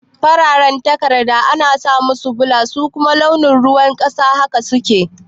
fararan takarda ana samusu bula su kuma launin ruwan ƙasa haka suke